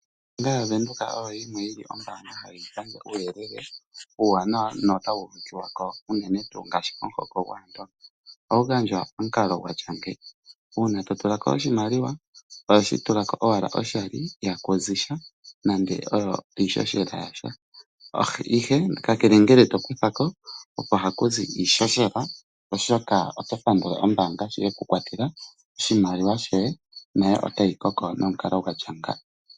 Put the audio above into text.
Ombaanga yaVenduka oyo yimwe yili ombaanga hayi gandja uuyelele uuwanawa nota wu uvikiwako unene tuu ngaashi komuhoko gwAandonga. Ohawu gandjwa pamukalo gwa tya ngi, uuna to tulako oshimaliwa oho shi tulako owala oshali ihaku zi sha nande iihohela yasha ihe kakele ngele to kuthako oha ku zi iihohela oshoka oto pandula ombaanga sho ye ku kwatela oshimaliwa shoye, nayo otayi koko nomukalo gwa tya nga.